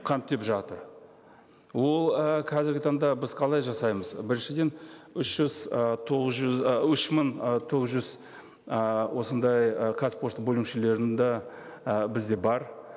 жатыр ол ііі қазіргі таңда біз қалай жасаймыз біріншіден үш жүз ы тоғыз жүз ы үш мың ы тоғыз жүз ыыы осындай ы қазпошта бөлімшелерін де і бізде бар